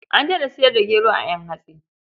An daina sayar da gero a ƴan hatsi.